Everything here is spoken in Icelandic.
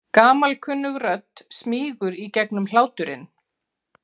Gamalkunnug rödd smýgur í gegnum hláturinn.